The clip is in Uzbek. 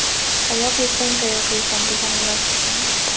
Sayoq yursang, tayoq yeysan degani rost ekan.